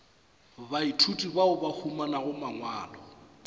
baithuti bao ba humanago mangwalo